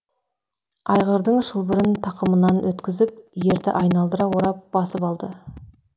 айғырдың шылбырын тақымынан өткізіп ерді айналдыра орап басып алды